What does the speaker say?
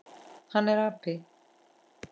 Hann er api.